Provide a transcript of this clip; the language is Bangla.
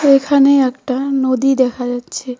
এখানে একটা নদী দেখা যাচ্ছে।